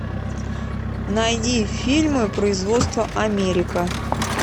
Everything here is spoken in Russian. найди фильмы производства америка